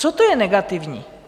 Co to je negativní?